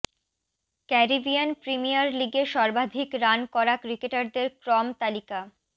Caribbean Premier লিগে সর্বাধিক run করা ক্রিকেটারদের ক্রম তালিকা